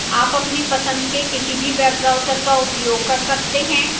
आप अपनी पसंद के किसी भी web browser का उपयोग कर सकते हैं